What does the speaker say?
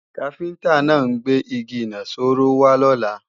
Káfíntá náà ń gbé Igi ìnaṣọró wá lọ́la